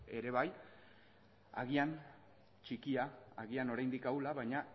ere bai agian txikia agian oraindik ahula baina